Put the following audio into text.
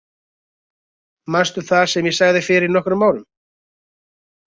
Manstu það sem ég sagði fyrir nokkrum árum?